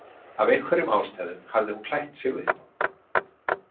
Af einhverjum ástæðum hafði hún klætt sig upp á.